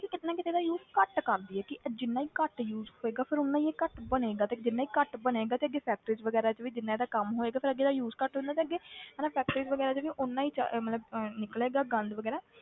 ਕਿ ਕਿਤੇ ਨਾ ਕਿਤੇ ਇਹਦਾ use ਘੱਟ ਕਰ ਦੇਈਏ ਕਿ ਇਹ ਜਿੰਨਾ ਹੀ ਘੱਟ use ਹੋਏਗਾ ਫਿਰ ਓਨਾ ਹੀ ਇਹ ਘੱਟ ਬਣੇਗਾ ਤੇ ਜਿੰਨਾ ਹੀ ਘੱਟ ਬਣੇਗਾ ਤੇ ਜੇ factories ਵਗ਼ੈਰਾ 'ਚ ਵੀ ਜਿੰਨਾ ਇਹਦਾ ਕੰਮ ਹੋਏਗਾ ਫਿਰ ਅੱਗੇ ਇਹਦਾ use ਘੱਟ ਹੁੰਦਾ ਤੇ ਅੱਗੇ ਹਨਾ factories ਵਗ਼ੈਰਾ 'ਚ ਵੀ ਓਨਾ ਹੀ ਜ਼ਿ~ ਮਤਲਬ ਅਹ ਨਿਕਲੇਗਾ ਗੰਦ ਵਗ਼ੈਰਾ,